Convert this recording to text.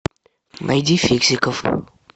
найди фиксиков